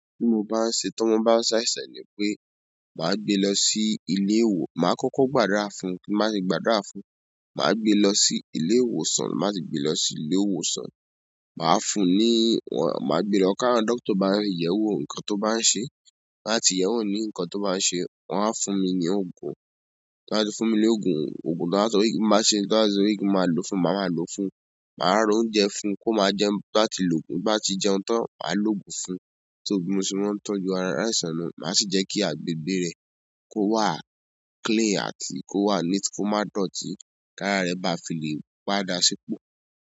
Tí mo bá ń ṣe, tí ọmọ bá ń ṣàìsàn ni pé màá gbé lọ sí ilé ìwò, màá kọ́kọ́ gbàdúrà fún, tí n bá ti gbàdúrà fún, màá gbé lọ sí ilé ìwòsàn, má ṣe gbé lọ sí ilé ìwòsàn. Màá fún un ní, màá gbe lọwọ káwọn dókítà bá ń yẹ̀wò nǹkan tó bá ń ṣe, láti yẹ̀wò nǹkan tó bá ń ṣe. Wọ́n á fún mi ní òogùn, tí wọ́n bá ti fún mi ní òogùn, òògùn tí wọ́n bá sọ wípé má ṣe, tí wọ́n bá sọ wípé má lò fún, mà má lò fún. Màá ra oúnjẹ fún un kó má jẹun bá ti lòògùn, bá ti jẹun tán, màá lò òògùn fún. Tó bi mo se maa n tọ́jú aláìsàn nu, màá sì jẹ́ kí agbègbè rẹ̀ kó wà clean àti kó wà neat kó má dọ̀tí. Kara rẹ ba fi le padà sipo.